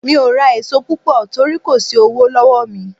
Mi ò ra èso púpọ̀ torí kò sí owó lọ́wọ́ mi.